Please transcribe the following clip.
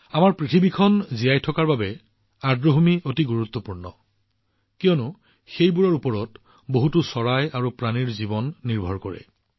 আমাৰ পৃথিৱীৰ অস্তিত্বৰ বাবে আৰ্দ্ৰভূমি অতি গুৰুত্বপূৰ্ণ কিয়নো বহুতো চৰাই আৰু প্ৰাণী সেইবোৰৰ ওপৰত নিৰ্ভৰ কৰে